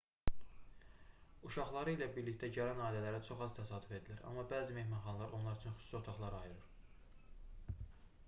uşaqları ilə birlikdə gələn ailələrə çox az təsadüf edilir amma bəzi mehmanxanalar onlar üçün xüsusi otaqlar ayırır